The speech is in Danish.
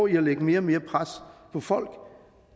i at lægge mere og mere pres på folk